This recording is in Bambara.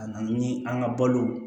A na ni an ka balo